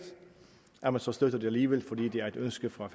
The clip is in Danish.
at man så støtter det alligevel fordi det er et ønske fra